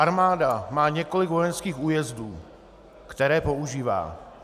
Armáda má několik vojenských újezdů, které používá.